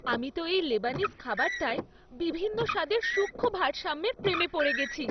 আমি তো এই লেবানিজ খাবারটায় বিভিন্ন স্বাদের সূক্ষ্ম ভারসাম্যের প্রেমে পড়ে গেছি।